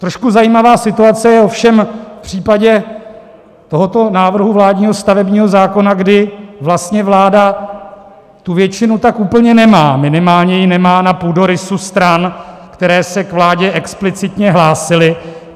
Trošku zajímavá situace je ovšem v případě tohoto návrhu vládního stavebního zákona, kdy vlastně vláda tu většinu tak úplně nemá, minimálně ji nemá na půdorysu stran, které se k vládě explicitně hlásily.